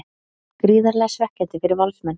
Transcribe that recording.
Gríðarlega svekkjandi fyrir Valsmenn